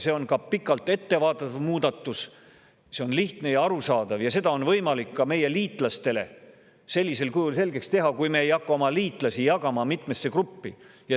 See on pikalt ette vaatav muudatus, see on lihtne ja arusaadav ning seda on võimalik ka meie liitlastele sellisel kujul selgeks teha, kui me ei hakka oma liitlasi jagama mitmesse gruppi.